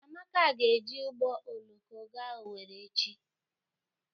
Amaka ga-eji ụgbọ oloko ga Owerri echi.